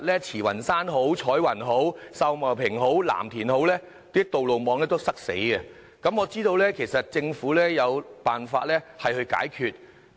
慈雲山、彩雲、秀茂坪或藍田的道路網每天都非常擠塞，但我知道政府其實有辦法解決。